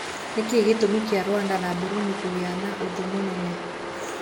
Nĩkĩĩ gĩtũmi kĩa Rwanda na Burudi kũgĩa na ũthũmũnene?